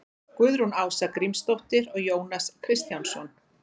guðrún ása grímsdóttir og jónas kristjánsson